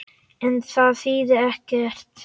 En það þýðir ekkert.